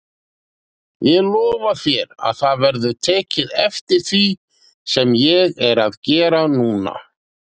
Ég lofa þér að það verður tekið eftir því sem ég er að gera núna.